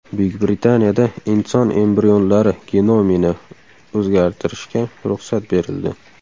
Buyuk Britaniyada inson embrionlari genomini o‘zgartirishga ruxsat berildi.